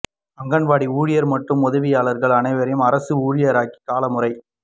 அங்கன்வாடி ஊழியர் மற்றும் உதவியாளர்கள் அனைவரையும் அரசு ஊழியராக்கி கால முறை